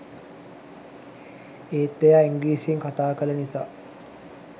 ඒත් එයා ඉන්ග්‍රිසියෙන් කතා කල නිසා